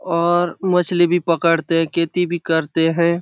और मछली भी पकड़ते है खेती भी करते है ।